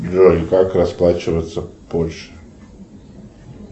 джой как расплачиваться в польше